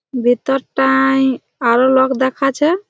ভিতর টায় এ এ আরো লোক দেখাছে।